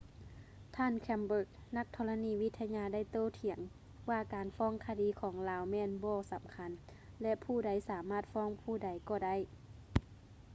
ທ່ານ chambers ນັກທໍລະນີວິທະຍາໄດ້ໂຕ້ຖຽງວ່າການຟ້ອງຄະດີຂອງລາວແມ່ນ ບໍ່ສຳຄັນ ແລະ ຜູ້ໃດສາມາດຟ້ອງຜູ້ໃດກໍໄດ້